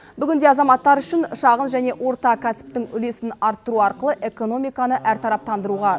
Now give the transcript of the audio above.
бүгінде азаматтар үшін шағын және орта кәсіптің үлесін арттыру арқылы экономиканы әртараптандыруға